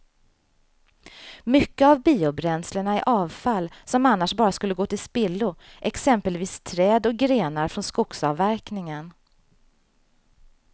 Mycket av biobränslena är avfall som annars bara skulle gå till spillo, exempelvis träd och grenar från skogsavverkningen.